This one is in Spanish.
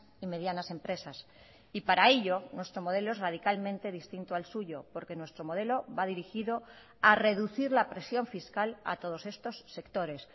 y medianas empresas y para ello nuestro modelo es radicalmente distinto al suyo porque nuestro modelo va dirigido a reducir la presión fiscal a todos estos sectores